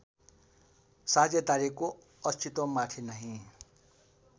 साझेदारीको अस्तित्वमाथि नै